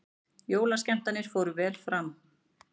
Jólaskemmtanir fóru vel fram